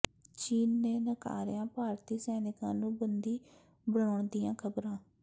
ਚੀਨ ਨੇ ਨਕਾਰੀਆਂ ਭਾਰਤੀ ਸੈਨਿਕਾਂ ਨੂੰ ਬੰਦੀ ਬਣਾਉਣ ਦੀਆਂ ਖ਼ਬਰਾਂ